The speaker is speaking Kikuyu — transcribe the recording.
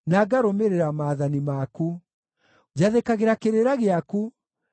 Njathĩkagĩra kĩrĩra gĩaku, nĩgũkorwo nĩndĩkĩendete mũno.